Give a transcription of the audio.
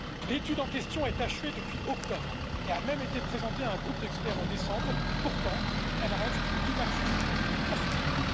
L'étude en question est achevée depuis octobre et a même été présentée à un groupe d'experts en décembre, pourtant, elle reste inaccessible à ce jour.